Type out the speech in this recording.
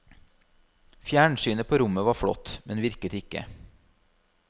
Fjernsynet på rommet var flott, men virket ikke.